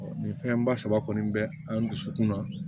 nin fɛn ba saba kɔni bɛ an dusukun na